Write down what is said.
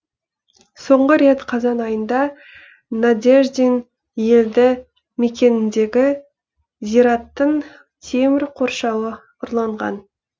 соңғы рет қазан айында надеждин елді мекеніндегі зираттың темір қоршауы ұрланған